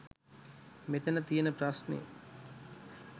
මෙතන තියන ප්‍රශ්නෙ.